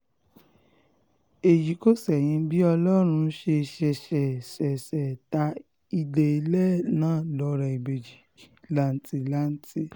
èyí kò ṣẹ̀yìn bí ọlọ́run ṣe ṣẹ̀ṣẹ̀ ṣẹ̀ṣẹ̀ ta ìdèlẹ̀ náà lọ́rẹ̀ ìbejì làǹtìlanti